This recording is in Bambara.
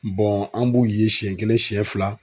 I Bɔn an b'ulu ye sɛn kelen sɛn fila